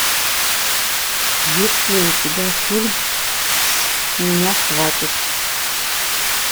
есть ли у тебя фильм с меня хватит